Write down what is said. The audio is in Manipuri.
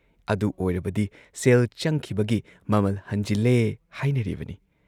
ꯑꯗꯨ ꯑꯣꯏꯔꯕꯗꯤ ꯁꯦꯜ ꯆꯪꯈꯤꯕꯒꯤ ꯃꯃꯜ ꯍꯟꯖꯤꯜꯂꯦ ꯍꯥꯏꯅꯔꯤꯕꯅꯤ ꯫